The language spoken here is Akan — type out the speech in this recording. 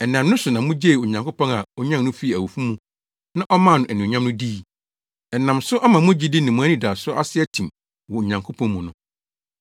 Ɛnam ne so na mugyee Onyankopɔn a onyan no fii awufo mu na ɔmaa no anuonyam no dii. Ɛnam so ama mo gyidi ne mo anidaso ase atim wɔ Onyankopɔn mu no.